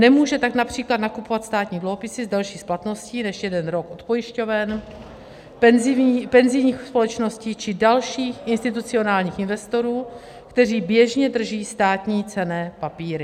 Nemůže tak například nakupovat státní dluhopisy s delší splatností než jeden rok od pojišťoven, penzijních společností či dalších institucionálních investorů, kteří běžně drží státní cenné papíry.